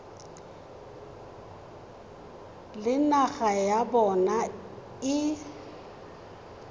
le naga ya bona e